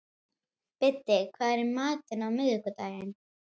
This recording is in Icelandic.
Biddi, hvað er í matinn á miðvikudaginn?